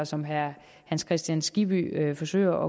som herre hans kristian skibby forsøger